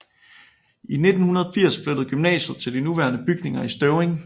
I 1980 flyttede gymnasiet til de nuværende bygninger i Støvring